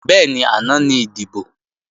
Bẹ́ẹ̀ni, àná ní ìdìbò